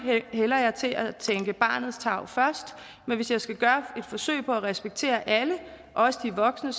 hælder jeg til at tænke barnets tarv først men hvis jeg skal gøre et forsøg på at respektere alle også de voksne